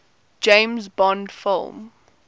james bond film